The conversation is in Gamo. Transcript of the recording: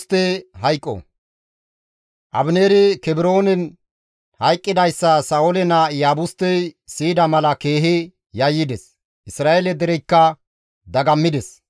Abineeri Kebroonen hayqqidayssa Sa7oole naa Iyaabustey siyida mala keehi yayyides; Isra7eele dereykka dagammides.